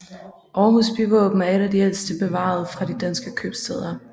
Aarhus byvåben er et af de ældste bevarede fra de danske købstæder